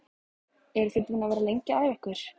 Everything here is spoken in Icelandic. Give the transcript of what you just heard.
Eru þið búin að vera lengi að æfa ykkur?